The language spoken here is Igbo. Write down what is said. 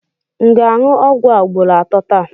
M ga-aṅụ ọgwụ a ugboro atọ taa?